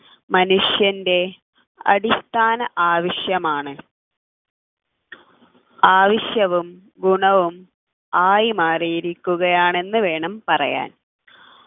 മനുഷ്യൻ്റെ അടിസ്ഥാന ആവശ്യമാണ് ആവശ്യവും ഗുണവും ആയി മാറിയിരിക്കുകയാണെന്നു വേണം പറയാൻ